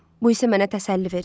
Bu isə mənə təsəlli verir.